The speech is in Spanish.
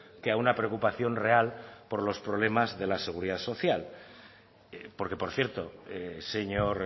que a una preocupación real por los problemas de la seguridad social porque por cierto señor